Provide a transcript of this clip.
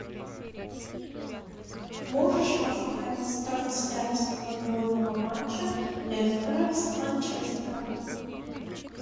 можешь поставить трансляцию футбольного матча лестера с манчестером